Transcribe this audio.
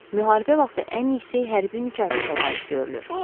Müharibə vaxtı ən yüksək hərbi mükafata layiq görülmüşdü.